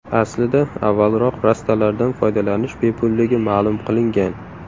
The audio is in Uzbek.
Aslida, avvalroq rastalardan foydalanish bepulligi ma’lum qilingan.